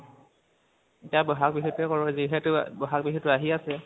এতিয়া বহাগ বিহু টোৱে কৰোঁ, যিহেতু বহাগ বিহুটো আহি আছে।